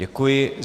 Děkuji.